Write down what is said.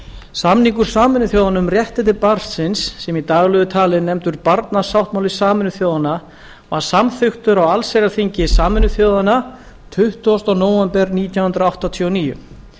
samningur sameinuðu þjóðanna um réttindi barnsins sem í daglegu tali er nefndur barnasáttmáli sameinuðu þjóðanna var samþykktur á allsherjarþingi sameinuðu þjóðanna tuttugasta nóvember nítján hundruð áttatíu og níu